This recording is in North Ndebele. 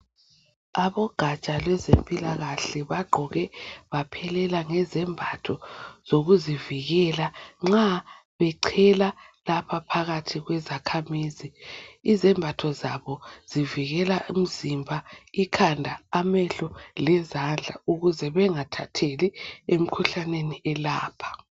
Abogatsha lwezempilakahle bagqoke baphelela ngezembatho zokuzivikela nxa bechela lapha phakathi kwezakhamizi. Izembatho zabo zivikela umzimba, ikhanda, amehlo lezandla ukuze bengathatheli emikhuhlaneni elapha.